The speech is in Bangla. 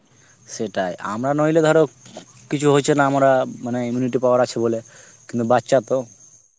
সেটাই আমরা নইলে ধর কিছু হইছে না মরা মানে immunity power আছে বলে কিন্তু বাচ্চা তো